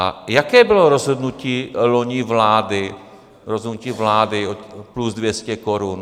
A jaké bylo rozhodnutí loni vlády, rozhodnutí vlády plus 200 korun?